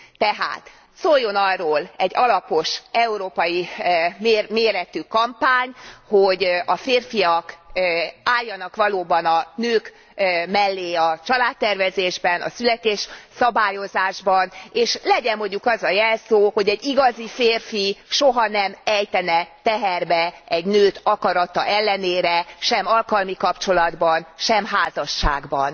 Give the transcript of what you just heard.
Tehát szóljon arról egy alapos, európai méretű kampány, hogy a férfiak álljanak valóban a nők mellé a családtervezésben, a születésszabályozásban, és legyen mondjuk az a jelszó, hogy egy igazi férfi soha nem ejtene teherbe egy nőt akarata ellenére, sem alkalmi kapcsolatban sem házasságban.